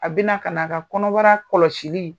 A bɛna ka na a ka kɔnɔbara kɔlɔsili